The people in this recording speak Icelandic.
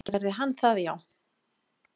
Gerði hann það já?